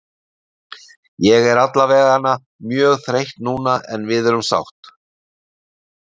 Ég er allavegana mjög þreytt núna en við erum sátt.